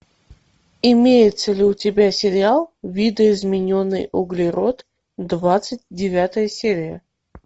имеется ли у тебя сериал видоизмененный углерод двадцать девятая серия